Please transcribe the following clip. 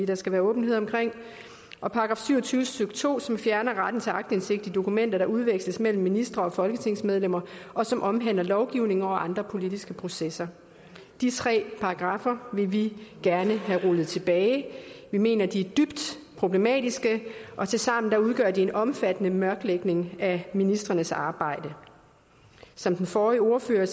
der skal være åbenhed om og § syv og tyve stykke to som fjerner retten til aktindsigt i dokumenter der udveksles mellem ministre og folketingsmedlemmer og som omhandler lovgivning og andre politiske processer de tre paragraffer vil vi gerne have rullet tilbage vi mener at de er dybt problematiske og tilsammen udgør de en omfattende mørklægning af ministrenes arbejde som den forrige ordfører